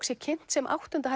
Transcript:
sé kynnt sem áttunda